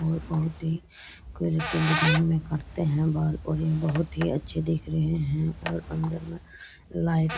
और बहुत ही डिजाइन में काटते हैं बाल और ये बहुत ही अच्छे दिख रहें हैं और अंदर में लाइट --